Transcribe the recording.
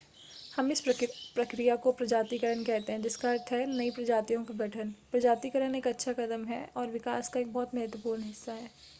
हम इस प्रक्रिया को प्रजातिकरण कहते हैं जिसका अर्थ है नई प्रजातियों का गठन प्रजातिकरण एक अच्छा कदम है और विकास का एक बहुत महत्वपूर्ण हिस्सा है